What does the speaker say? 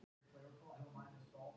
Bara hún hefði ekki verið með.